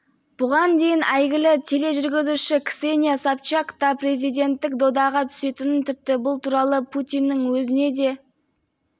бұған дейін әйгілі тележүргізуші ксения собчак та президенттік додаға түсетінін тіпті бұл туралы путиннің өзіне де